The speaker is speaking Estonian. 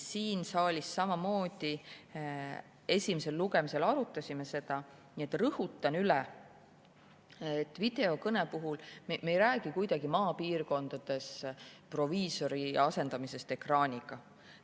Siin saalis me esimesel lugemisel samamoodi arutasime seda ja ma rõhutan üle, et videokõne puhul me ei räägi kuidagi maapiirkondades proviisori asendamisest ekraaniga.